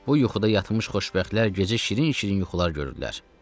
Bu yuxuda yatmış xoşbəxtlər gecə şirin-şirin yuxular görürlər.